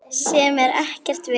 Sem er ekkert vit.